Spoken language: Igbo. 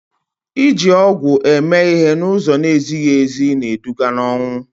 iji ọgwụ eme ihe n'ụzọ na-ezighị ezi na-eduga n'ọnwụ